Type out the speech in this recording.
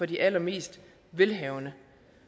de allermest velhavende